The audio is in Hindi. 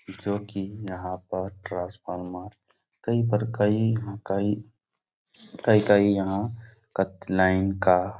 जो कि यहाँ पर ट्रांसफार्मर कई पर कई-कई कई-कई यहाँ लाइन का --